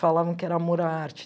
Falavam que era amor à arte.